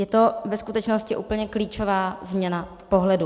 Je to ve skutečnosti úplně klíčová změna pohledu.